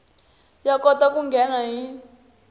ya kota ku nghena hi